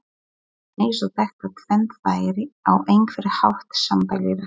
Eins og þetta tvennt væri á einhvern hátt sambærilegt.